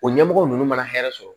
O ɲɛmɔgɔ ninnu mana hɛrɛ sɔrɔ